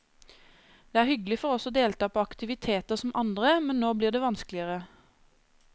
Det er hyggelig for oss å delta på aktiviteter som andre, men nå blir det vanskeligere.